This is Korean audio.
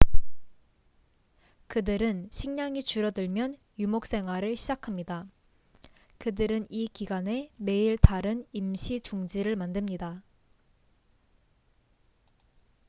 그들은 식량이 줄어들면 유목생활을 시작합니다 그들은 이 기간에 매일 다른 임시 둥지를 만듭니다